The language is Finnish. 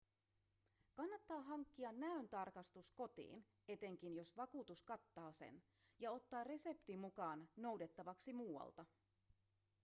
kannattaa hankkia näöntarkastus kotiin etenkin jos vakuutus kattaa sen ja ottaa resepti mukaan noudettavaksi muualta